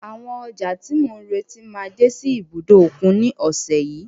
Àwọn ọjà tí mò ń retí máa dé sí ibùdó òkun ní ọ̀sẹ̀ yìí.